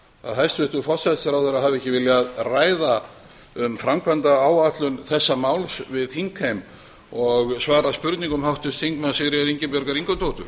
að hæstvirtur forsætisráðherra hafi ekki viljað ræða um framkvæmdaáætlun þessa máls við þingheim og svara spurningum háttvirts þingmanns sigríðar ingibjargar ingadóttur